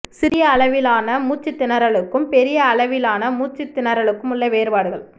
சிறிய அளவிலான மூச்சுத் திணறலுக்கும் பெரிய அளவிலான மூச்சுத் திணறலுக்கும் உள்ள வேறுபாடுகள்